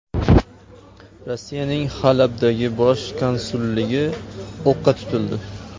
Rossiyaning Halabdagi bosh konsulligi o‘qqa tutildi.